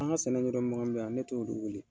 An ka sɛnɛ yɔrɔ mɔgɔ mun bɛ yan ne t'olu wele.